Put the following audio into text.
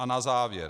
A na závěr.